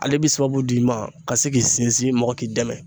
Ale bi sababu d'i ma ka se k'i sinsin mɔgɔw k'i dɛmɛ